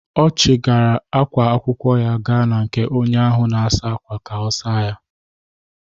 Ọ chiri ákwá akwụkwọ gaa na nke onye ahụ na-asa ákwà ka ọ saa ya.